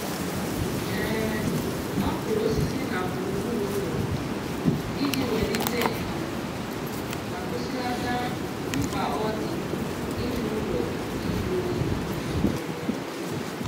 ọ kụrụ osisi na gburugburu ụlọ iji welite ndo ma kwụsịlata mkpa ọ dị ime ụlọ ịjụ oyi. oyi.